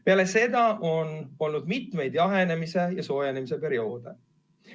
Peale seda on olnud mitu jahenemise ja soojenemise perioodi.